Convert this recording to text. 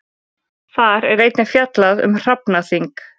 Þar er einnig fjallað um hrafnaþing.